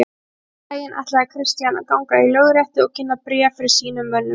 Seinna um daginn ætlaði Christian að ganga í lögréttu og kynna bréf sín fyrir mönnum.